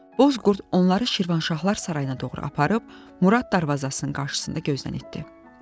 Boz qurd onları Şirvanşahlar Sarayına doğru aparıb Murad darvazasının qarşısında gözdən itdi.